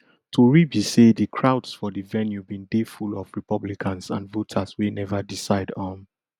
tori be say di crowds for di venue bin dey full of republicans and voters wey neva decide um